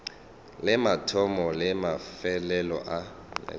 le mathomo le mafelelo a